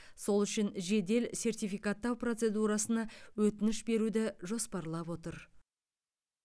сол үшін жедел сертификаттау процедурасына өтініш беруді жоспарлап отыр